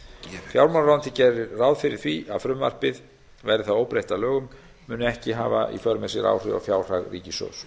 fjármálaráðuneytið gerir ráð fyrir því að frumvarpið verði það óbreytt að lögum muni ekki hafa í för með sér áhrif á fjárhag ríkissjóðs